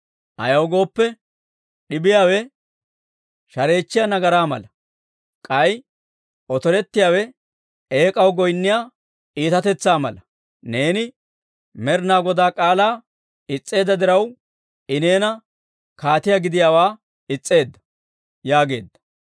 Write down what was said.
Ayaw gooppe, d'ibiyaawe shareechchiyaa nagaraa mala; k'ay otorettiyaawe eek'aw goynniyaa itatetsaa mala. Neeni Med'inaa Godaa k'aalaa is's'eedda diraw, I neeni kaatiyaa gidiyaawaa is's'eedda» yaageedda.